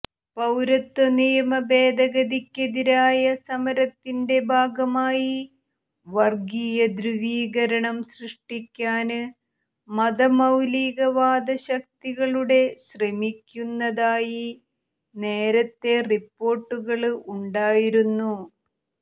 പൌരത്വ നിയമ ഭേദഗതിക്കെതിരായ സമരത്തിന്റെ ഭാഗമായി വര്ഗീയ ധ്രുവീകരണം സൃഷ്ടിക്കാന് മതമൌലികവാദശക്തികളുടെ ശ്രമിക്കുന്നതായി നേരത്തെ റിപ്പോര്ട്ടുകള് ഉണ്ടായിരുന്നു